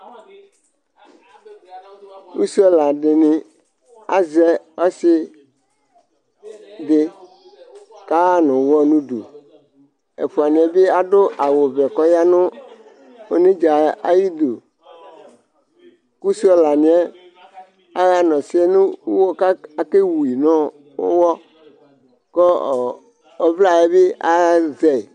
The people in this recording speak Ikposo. ɛsialɑdini ɑzɛ ósidi kɑ ɦɑnuwɔ nudu ɛfuɑniɛbi ɑdu ɑwuvɛ kɔ yɑnunɛdzɑ yidu kuɛsiolɑniɛ ɑhɑnosiɛ nuwɔ kɑkɛwu nuwɔkɔ ɔvlɑyɛbi ɑzɛ